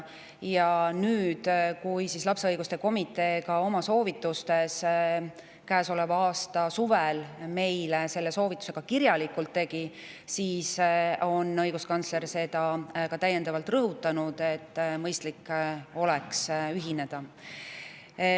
Ja nüüd, kui ka lapse õiguste komitee käesoleva aasta suvel meile selle kohta kirjaliku soovituse tegi, on õiguskantsler täiendavalt rõhutanud seda, et meil oleks mõistlik sellega ühineda.